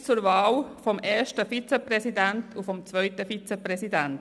Jetzt komme ich zur Wahl des ersten Vizepräsidenten und zu jener des zweiten Vizepräsidenten.